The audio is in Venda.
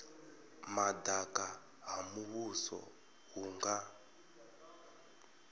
madaka ha muvhuso hu nga